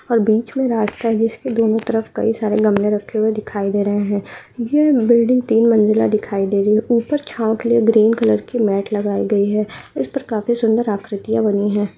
और बीच में रास्ता है जिसके दोनों तरफ कई सारे गमले रक्खे हुए दिखाई दे रहे है यह बिल्डिंग तीन मंजिला दिखाई दे रही है ऊपर छांव के लिए ग्रीन कलर की मैट लगाई गयी है इस पर काफी सुंदर आकृतिया बनी है।